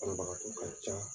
Banabagatɔ ka ca.